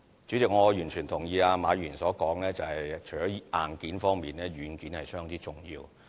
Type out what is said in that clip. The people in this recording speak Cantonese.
主席，我完全同意馬議員所說，除了硬件方面，軟件亦相當重要。